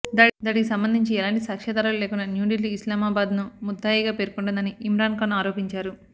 దాడికి సంబంధించి ఎలాంటి సాక్ష్యాధారాలు లేకుండా న్యూఢిల్లీ ఇస్లామాబాద్ ను ముద్దాయిగా పేర్కొంటోందని ఇమ్రాన్ ఖాన్ ఆరోపించారు